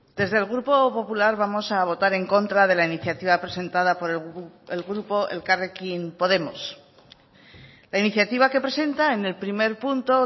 desde el grupo popular vamos a votar en contra de la iniciativa presentada por el grupo elkarrekin podemos la iniciativa que presenta en el primer punto